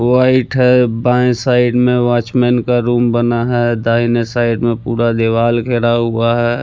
White है बाएँ side में वॉचमन का रूम बना है दाहिने साइड में पूरा दिवाल घेरा हुआ है।